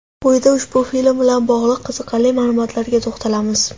Quyida ushbu film bilan bog‘liq qiziqarli ma’lumotlarga to‘xtalamiz.